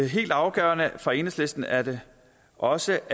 helt afgørende for enhedslisten er det også